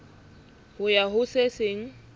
ho ya ho se seng